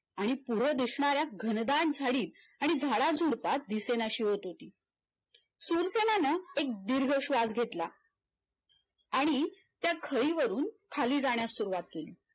आणि पुढ दिसणाऱ्या घनदाट झाडी आणि झाडाझुडपात दिसेनाशी होती ती शूरसेनानं एक दीर्घ श्वास घेतला आणि त्या खरीवरून खाली जाण्यास सुरुवात केली.